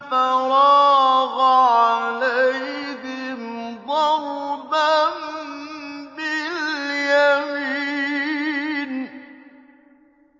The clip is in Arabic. فَرَاغَ عَلَيْهِمْ ضَرْبًا بِالْيَمِينِ